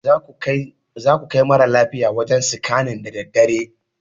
Zasu kai mara lafiyar wajen sikannin daa daddare